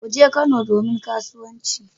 Kuje Kano domin kasuwanci